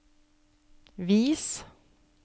vis